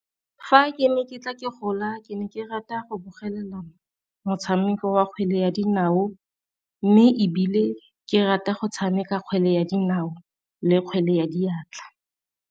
Fa ke ne ke tla ke gola ke ne ke rata go bogela motshameko wa kgwele ya dinao, mme ebile ke rata go tshameka kgwele ya dinao le kgwele ya diatla.